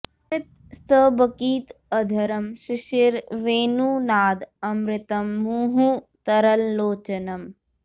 स्मित स्तबकित अधरम् शिशिर वेणु नाद अमृतम् मुहुः तरल लोचनम्